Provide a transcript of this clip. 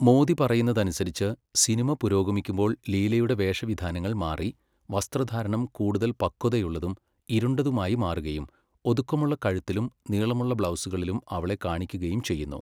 മോദി പറയുന്നതനുസരിച്ച്, സിനിമ പുരോഗമിക്കുമ്പോൾ ലീലയുടെ വേഷവിധാനങ്ങൾ മാറി, വസ്ത്രധാരണം കൂടുതൽ പക്വതയുള്ളതും ഇരുണ്ടതുമായി മാറുകയും, ഒതുക്കമുള്ള കഴുത്തിലും നീളമുള്ള ബ്ലൗസുകളിലും അവളെ കാണിക്കുകയും ചെയ്യുന്നു.